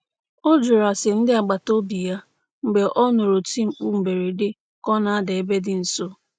Ọ jụrụ ase ndị agbataobi ya mgbe ọ nụrụ oti mkpu mberede ka ọ na-ada ebe dị nso.